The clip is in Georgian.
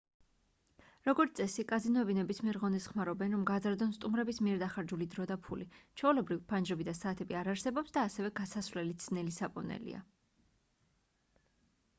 როგორც წესი კაზინოები ნებისმიერ ღონეს ხმარობენ რომ გაზარდონ სტუმრების მიერ დახარჯული დრო და ფული ჩვეულებრივ ფანჯრები და საათები არ არსებობს და ასევე გასასვლელიც ძნელი საპოვნელია